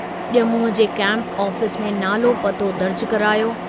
जमूअ जे camp office में नालो पतो दर्ज करायो।